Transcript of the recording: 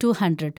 two hundred